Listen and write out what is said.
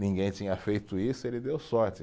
Ninguém tinha feito isso, ele deu sorte.